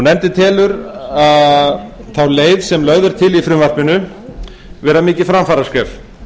nefndin telur þá leið sem lögð er til í frumvarpinu mikið framfaraskref